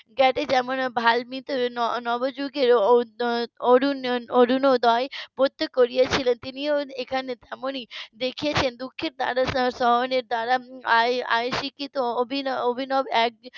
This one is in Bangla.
. নব যুগের অরুণোদয় . করেছিলেন তিনিও তেমনি এখানে দেখিয়াছেন দুঃখের সময়ে তারা আই স্বীকৃত অভিনব এক